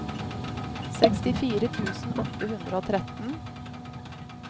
sekstifire tusen åtte hundre og tretten